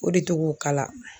O de tɔgɔ k'ala